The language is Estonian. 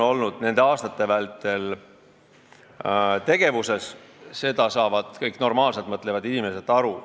Nende aastate vältel on selliseid tegevusi olnud ja sellest saavad kõik normaalselt mõtlevad inimesed ka aru.